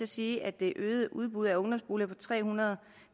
sige at det øgede udbud af ungdomsboliger på tre hundrede